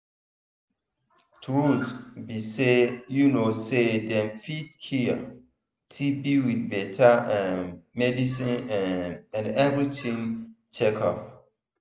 truth be say you know say them fit cure tb with better um medicine um and everytime check up.